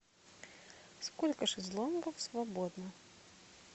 сколько шезлонгов свободно